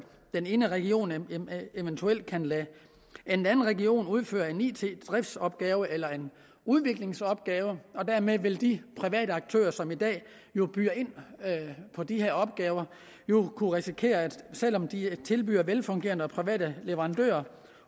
en region eventuelt kan lade en anden region udføre en it driftsopgave eller en udviklingsopgave og dermed vil de private aktører som i dag jo byder ind på de her opgaver kunne risikere at selv om de er velfungerende private leverandører